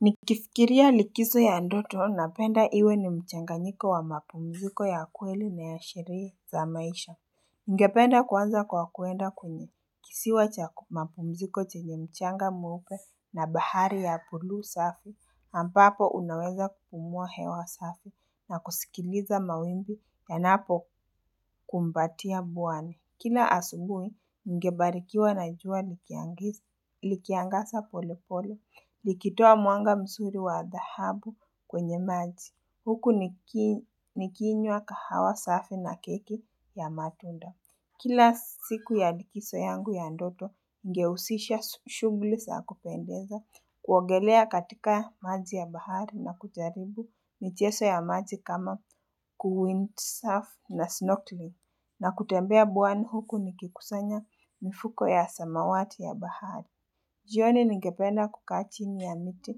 Nikifikiria likizo ya ndoto napenda iwe ni mchanganyiko wa mapumziko ya kweli na ya sherehe za maisha. Ningependa kuanza kwa kwenda kwenye kisiwa cha mapumziko chenye mchanga mweupe na bahari ya bulu safu. Ambapo unaweza kupumua hewa safi na kusikiliza mawimbi yanapokumbatia bwane. Kila asubuhi, ningebarikiwa na jua likiangaza pole pole, likitoa mwanga mzuri wa dhahabu kwenye maji. Huku nikinywa kahawa safi na keki ya matunda. Kila siku ya likizo yangu ya ndoto, ningehusisha shughuli za kupendeza, kuogelea katika maji ya bahari na kujaribu michezo ya maji kama kuwint safi na snortli na kutembea bwani huku nikikusanya mifuko ya samawati ya bahari. Jioni ningependa kukaa chini ya miti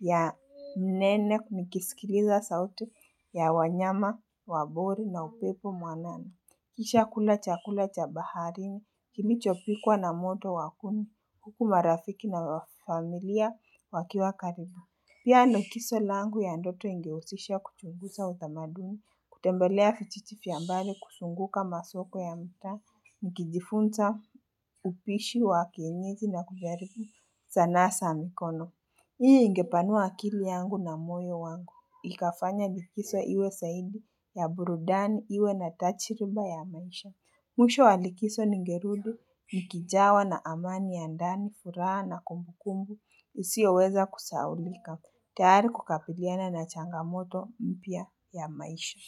ya nene nikisikiliza sauti ya wanyama, wabori na upepo mwanana. Kisha kula chakula cha bahari, kilichopikwa na moto wa kuni huku marafiki na familia wakiwa karibu. Pia likizo langu ya ndoto ingehusisha kuchunguza utamaduni, kutembelea vijiji vya mbali kuzunguka masoko ya mtaa, nikijifunza, upishi wa kienyeji na kujaribu sanaa za mikono. Hii ingepanua akili yangu na moyo wangu. Ikafanye likizo iwe zaidi ya burudani iwe na tajiiriba ya maisha. Mwisho wa likizo nigerudi, nikijawa na amani ya ndani, furaha na kumbukumbu, isioweza kusahaulika. Tayari kukabiliana na changamoto mpya ya maisha.